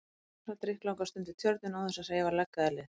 Kamilla sat drykklanga stund við Tjörnina án þess að hreyfa legg eða lið.